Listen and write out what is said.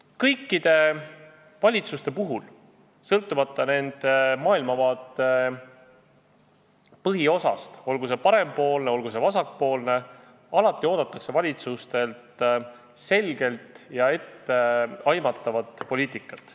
Kõikidelt valitsustelt, sõltumata nende maailmavaate põhiosast, olgu see parempoolne või vasakpoolne, oodatakse alati selget ja etteaimatavat poliitikat.